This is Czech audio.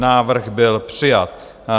Návrh byl přijat.